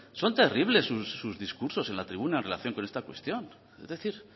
son terribles sus discursos en la tribuna en relación con esta cuestión es decir